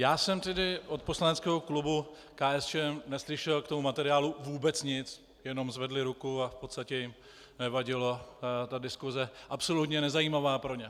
Já jsem tedy od poslaneckého klubu KSČM neslyšel k tomu materiálu vůbec nic, jenom zvedli ruku a v podstatě jim nevadila ta diskuse, absolutně nezajímavá pro ně.